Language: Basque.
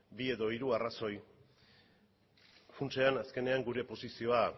bi edo hiru arrazoi funtsean azkenean gure posizioa